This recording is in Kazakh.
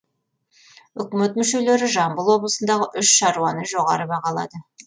үкімет мүшелері жамбыл облысындағы үш шаруаны жоғары бағалады